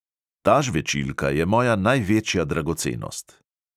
Ta žvečilka je moja največja dragocenost.